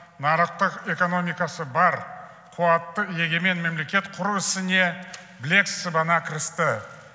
нарықтық экономикасы бар қуатты егемен мемлекет құру ісіне білек сыбана кірісті